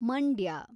Mandya